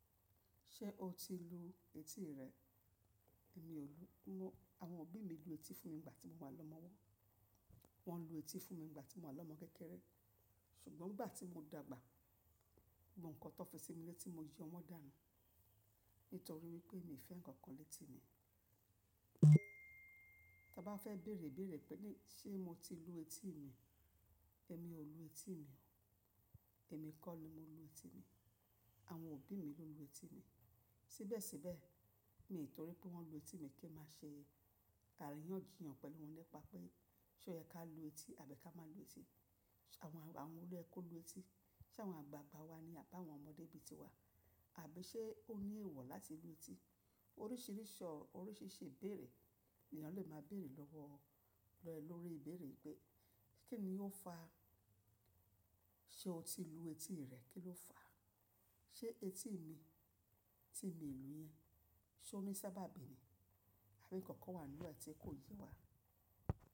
Ṣé o ti lu etí rẹ? Èmi ò lu. Awọn òbí mi lu etí fún mi ìgbà tí mo wà lọ́mọwọ́. Wọ́n lu etí fún mi ìgbà tí mo wà lọ́mọ kékéré. Ṣùgbọ́n ìgbà tí mo dàgbà, gbo ń kọ́ tọ́ fi sí mi lẹ́tí mo yo wọ dànù. Nítorí pé mi ò fẹ́ ǹkankan lẹ́tí mi. Tí a bá fẹ́ bèrè bèrè pé ní ṣé mo ti lu etí mi, èmi ò lu etí mi o. Èmi kọ́ ni mo lu etí mi. Àwọn òbí mi ló lu etí mi. Síbẹ̀síbẹ̀, ni nítorí pé wọ́n lu etí mi kí ẹ má ṣe àríyànjiyàn pẹ̀lú wọn lépa pé ṣé ó yẹ ká lu etí àbí ká má lu etí. Àwọn, àwọn wolo yẹ kó lu etí. Ṣé àwọn àgbààgbà wa ni àbá àwọn ọmọdé bi ti wa? Àbí ṣé ó ní èèwọ̀ láti lu etí? Oríṣiríṣi ọ̀, oríṣiríṣi ìbéèrè ènìyàn le máa béèrè lọ́wọ́ ẹ lórí ìbéèrè pé kí ni ó fa ṣé o ti lu etí rẹ kìlò fa? Ṣé etí mi tí mi n lu yẹn, ṣé ó ní sábàbí ni? Àbí ǹkankan wà nínú rẹ̀ tí kò yé wa?